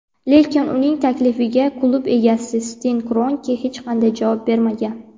lekin uning taklifiga klub egasi Sten Kronke hech qanday javob bermagan.